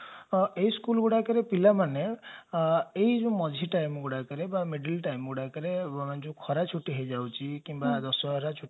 ଏ school ଗୁଡାକରେ ପିଲାମାନେ ଏ ଯାଉ ମଝି time ଗୁଡାକରେ ବା middle time ଗୁଡାକରେ ଜଉ ଖରା ଛୁଟି ହେଇଯାଉଛି କିମ୍ବା ଦଶହରା